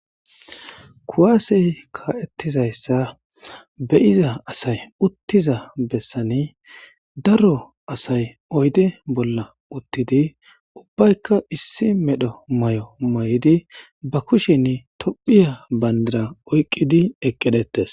Kuwaasey ka'ettizayssa beyiza asay uttiza bessani daro asay oyde bolla uttidi ubbaykka issi medho may'o may'idi ba kushen tophiya bandara oyqqidi eqqedhettes.